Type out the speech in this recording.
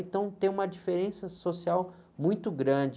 Então, tem uma diferença social muito grande.